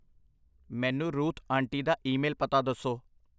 ਮੈਨੂੰ Ruth aunty ਦਾ email ਪਤਾ ਦੱਸੋ।